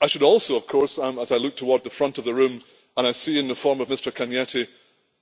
I should also of course, as I look toward the front of the room and I see in the form of Mr Cañete,